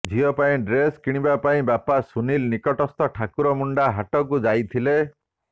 ଝିଅ ପାଇଁ ଡ୍ରେସ କିଣିବା ପାଇଁ ବାପା ସୁନିଲ ନିକଟସ୍ଥ ଠାକୁର ମୁଣ୍ଡା ହାଟକୁ ଯାଇଥିଲେ